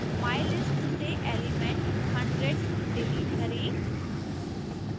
mylist list से element hundred delete करें